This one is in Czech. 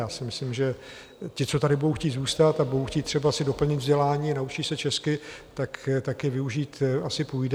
Já si myslím, že ti, co tady budou chtít zůstat a budou chtít třeba si doplnit vzdělání, naučí se česky, tak je využít asi půjde.